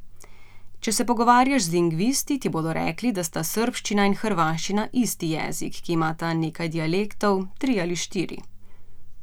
Če se pogovarjaš z lingvisti, ti bodo rekli, da sta srbščina in hrvaščina isti jezik, ki imata nekaj dialektov, tri ali štiri...